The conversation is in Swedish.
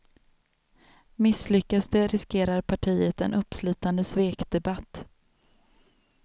Misslyckas det riskerar partiet en uppslitande svekdebatt.